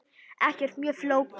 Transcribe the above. Ekkert mjög flókið.